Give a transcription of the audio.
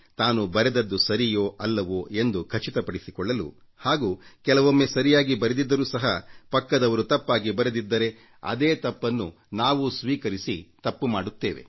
ತಾನು ಬರೆದದ್ದು ಸರಿಯೋ ಅಲ್ಲವೋ ಎಂದು ಖಚಿತಪಡಿಸಿಕೊಳ್ಳಲು ಹಾಗೂ ಕೆಲವೊಮ್ಮೆ ಸರಿಯಾಗಿ ಬರೆದಿದ್ದರೂ ಸಹ ಪಕ್ಕದವರು ತಪ್ಪಾಗಿ ಬರೆದಿದ್ದರೆ ಅದೇ ತಪ್ಪನ್ನು ನಾವೂ ಸ್ವೀಕರಿಸಿ ತಪ್ಪು ಮಾಡುತ್ತೇವೆ